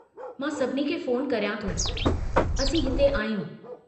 मां सभिनी खे फ़ोन करियां थो, असीं हिते आहियूं।